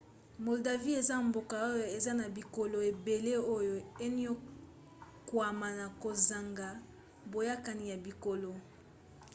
moldavie eza mboka oyo eza na bikolo ebele oyo eniokwama na kozanga boyokani ya bikolo